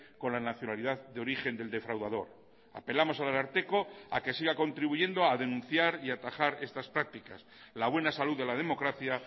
con la nacionalidad de origen del defraudador apelamos al ararteko a que siga contribuyendo a denunciar y atajar estas prácticas la buena salud de la democracia